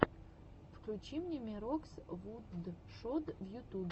включи мне мирокс вудшод в ютубе